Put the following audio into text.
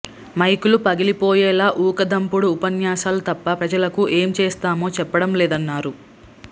మైకులు పగిలిపోయేలా ఊకదంపుడు ఉపన్యాసాలు తప్ప ప్రజలకు ఏం చేస్తామో చెప్పడం లేదన్నారు